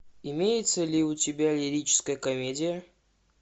имеется ли у тебя лирическая комедия